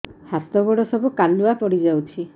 ହାତ ଗୋଡ ସବୁ କାଲୁଆ ପଡି ଯାଉଛି